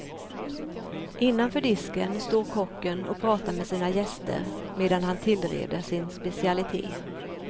Innanför disken står kocken och pratar med sina gäster, medan han tillreder sin specialitet.